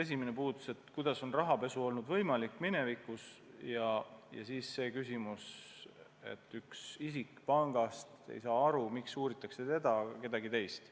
Esimene oli, kuidas on rahapesu võimalik olnud, ja siis see küsimus, et üks isik pangast ei saa aru, miks uuritakse teda, mitte kedagi teist.